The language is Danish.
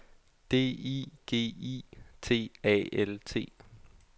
D I G I T A L T